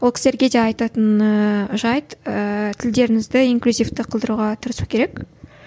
ол кісілерге де айтатын ыыы жайт ыыы тілдеріңізді инклюзивті қылдыруға тырысу керек